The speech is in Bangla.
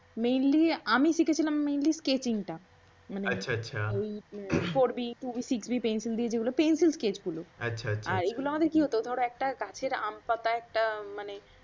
mainly আমি শিখেছিলাম mainly scketching টা। মানে আচ্ছা আচ্ছা। four b two b pencil দিয়ে যেগুলো। পেন্সিল স্কেচগুল। আচ্ছা আচ্ছা। আর এইগুলো আমাদের কি হত ধরো একটা গাছের আম বা একটা মানে